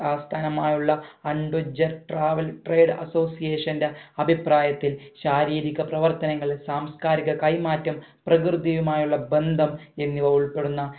ആസ്ഥാനമായുള്ള adventure travel trade association ന്റെ അഭിപ്രായത്തിൽ ശാരീരിക പ്രവർത്തനങ്ങൾ സാംസ്‌കാരിക കൈമാറ്റം പ്രകൃതിയുമായുള്ള ബന്ധം എന്നിവ ഉൾപ്പെടുന്ന